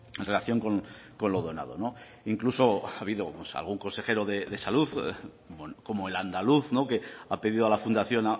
en relación con lo donado incluso ha habido algún consejero de salud como el andaluz que ha pedido a la fundación